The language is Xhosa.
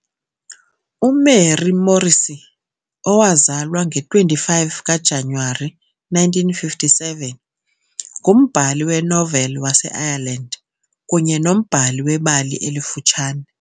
UMary Morrissy, owazalwa nge-25 kaJanuwari 1957, ngumbhali wenoveli waseIreland kunye nombhali webali elifutshane.